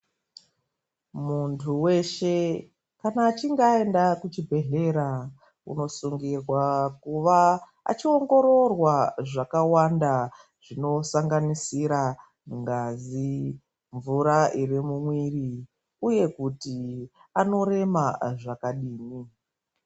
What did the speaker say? Muntu weshe kana achinge aenda kuchibhedhlera, unosungirwa kuva achiongororwa zvakawanda zvinosanganisira ngazi, mvura iri mumuiri uye kuti anorema zvakadini.